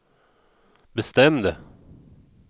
bestämde